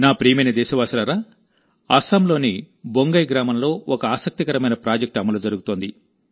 నా ప్రియమైన దేశవాసులారా అస్సాంలోని బొంగై గ్రామంలో ఒక ఆసక్తికరమైన ప్రాజెక్ట్ అమలు జరుగుతోంది